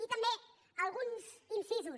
i també alguns incisos